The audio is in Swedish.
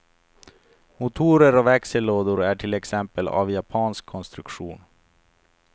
Motorer och växellådor är till exempel av japansk konstruktion.